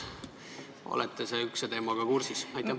Kas te olete selle teemaga kursis?